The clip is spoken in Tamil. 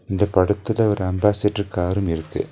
இந்த படத்துல ஒரு அம்பாசிட்ர் காரும் இருக்கு.